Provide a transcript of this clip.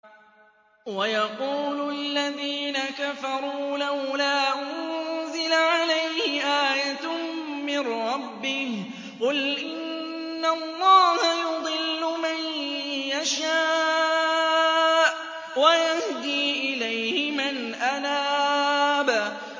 وَيَقُولُ الَّذِينَ كَفَرُوا لَوْلَا أُنزِلَ عَلَيْهِ آيَةٌ مِّن رَّبِّهِ ۗ قُلْ إِنَّ اللَّهَ يُضِلُّ مَن يَشَاءُ وَيَهْدِي إِلَيْهِ مَنْ أَنَابَ